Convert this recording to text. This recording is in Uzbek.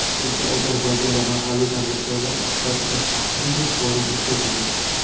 Toshkentda Ozarbayjon va mahalliy tadbirkorlar ishtirokida biznes-forum o‘tkazildi.